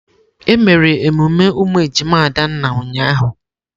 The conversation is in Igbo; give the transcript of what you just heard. Emere emume ụmụ ejima Adanna ụnyahụ.